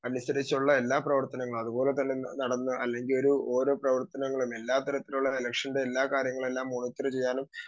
speaker 2 അനുസരിച്ചുള്ള എല്ലാ പ്രവർത്തനങ്ങളും അതുപോലെതന്നെ നടന്ന അല്ലെങ്കിലോരു ഓരോ പ്രവർത്തനങ്ങളിലും എല്ലാ തരത്തിലുള്ള ഇലക്ഷന്റെ എല്ലാ കാര്യങ്ങളും എല്ലാ മോണിറ്റർ ചെയ്യാനും